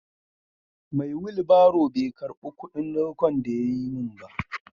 Mai wilbaron bai karba kudin dawko da yayi min ba.